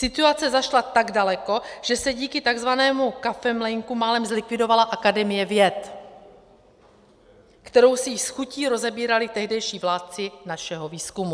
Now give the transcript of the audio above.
Situace zašla tak daleko, že se díky takzvanému kafemlejnku málem zlikvidovala Akademie věd, kterou si již s chutí rozebírali tehdejší vládci našeho výzkumu.